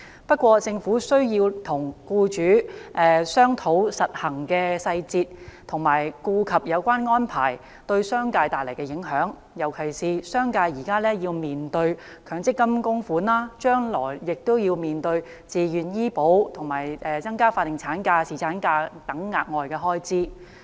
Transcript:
不過，政府需要與僱主商討實行的細節，以及顧及有關安排對商界帶來的影響，尤其是商界現時要面對強制性公積金供款，將來亦要面對自願醫療保險和增加法定產假、侍產假等額外開支。